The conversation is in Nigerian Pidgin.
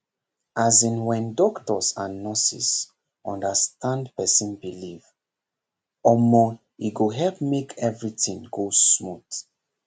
as in when doctors and nurses understand person belief omor e go help make everything go smooth